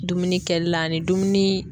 Dumuni kɛli la ani dumuni